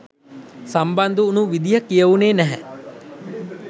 සම්බන්ධ වුණු විදිහ කියවුණේ නැහැ?